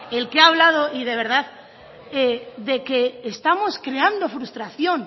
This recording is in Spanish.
el que ha hablado y de verdad de que estamos creando frustración